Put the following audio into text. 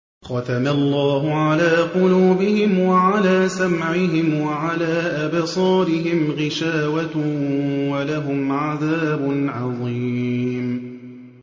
خَتَمَ اللَّهُ عَلَىٰ قُلُوبِهِمْ وَعَلَىٰ سَمْعِهِمْ ۖ وَعَلَىٰ أَبْصَارِهِمْ غِشَاوَةٌ ۖ وَلَهُمْ عَذَابٌ عَظِيمٌ